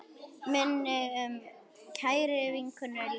Minning um kæra vinkonu lifir.